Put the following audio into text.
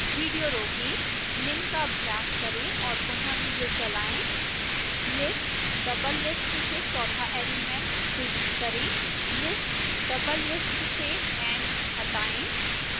video रोकें निम्न का अभ्यास करें और पुनः विडियो चलाएं